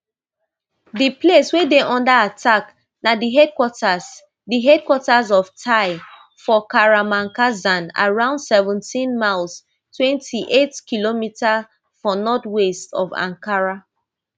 di place wey dey under attack na di headquarters di headquarters of tai for kahramankazan around seventeen miles twenty-eightkm for north west of ankara